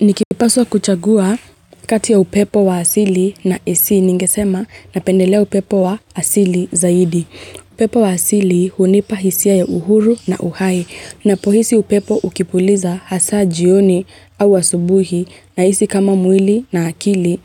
Nikipaswa kuchagua kati ya upepo wa asili na esi ningesema na pendelea upepo wa asili zaidi. Upepo wa asili hunipahisia ya uhuru na uhai. Napohisi upepo ukipuliza hasa jioni au wasubuhi na isi kama mwili na akili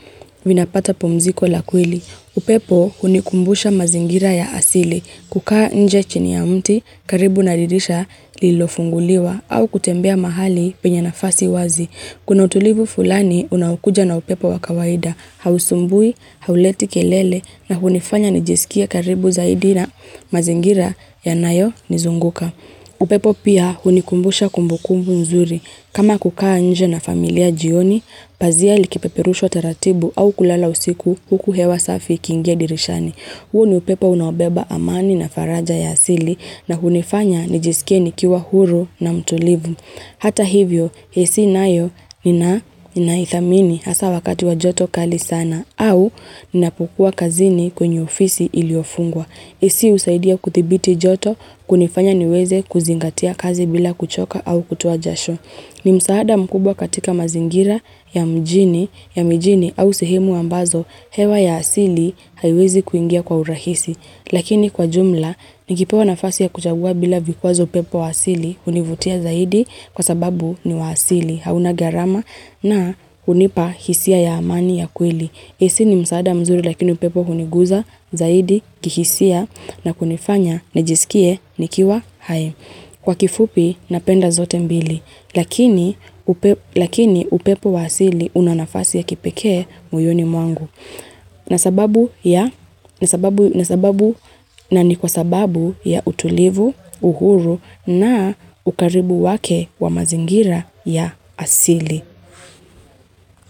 vinapata pomziko lakwili. Upepo hunikumbusha mazingira ya asili kukaa nje chini ya mti karibu naririsha lilofunguliwa au kutembea mahali penya nafasi wazi. Kuna utulivu fulani unawukuja na upepo wakawaida, hausumbui, hauleti kelele na hunifanya nijisikia karibu zaidina mazingira ya nayo nizunguka. Upepo pia hunikumbusha kumbukumbu nzuri. Kama kukaa nje na familia jioni, pazia likipeperusha taratibu au kulala usiku huku hewa safi kingia dirishani. Huo ni upepa unabeba amani na faraja ya asili na hunifanya nijisikie nikiwa huru na mtulivu. Hata hivyo, esi nayo ninaithamini hasa wakati wa joto kali sana au nina pukua kazini kwenye ofisi iliofungwa. Esi usaidia kuthibiti joto kunifanya niweze kuzingatia kazi bila kuchoka au kutuajasho. Ni msaada mkubwa katika mazingira ya mjini, ya mjini au sihimu ambazo, hewa ya asili haiwezi kuingia kwa urahisi. Lakini kwa jumla, nikipewa na fasi ya kuchagua bila vikuwa zo pepo wa asili, univutia zaidi kwa sababu ni wa asili, hauna garama na unipahisia ya amani ya kwili. Esi ni msaada mzuri lakini pepo kuniguza, zaidi, kihisia na kunifanya na jisikie, nikiwa hae. Kwa kifupi napenda zote mbili, lakini upepo wa asili unanafasi ya kipeke muyoni mwangu. Na sababu ya utulivu, uhuru na ukaribu wake wa mazingira ya asili.